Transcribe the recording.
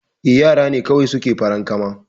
Eh yara ne kawai suke farankama